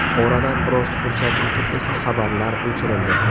Oradan biroz fursat o‘tib esa xabarlar o‘chirildi.